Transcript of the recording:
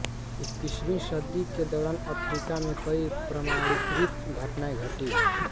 इक्कीसवीं सदी के दौरान अफ्रीका में कई प्रमाणीकृत घटनाएं घटी हैं